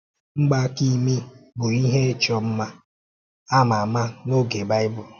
Mgbaaka imi bụ ihe ichọ mma a ma ama n’oge Baịbụl.